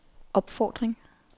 opfordring